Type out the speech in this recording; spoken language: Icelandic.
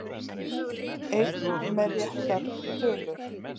Einn með réttar tölur